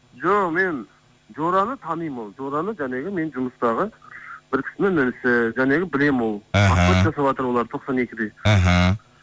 жоқ мен жораны танимын ол жораны жаңағы менің жұмыстағы бір кісінің інісі жаңағы білемін ол жасаватыр олар тоқсан екіде іхі